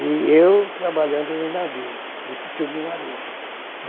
E eu trabalhando no navio desse submarino.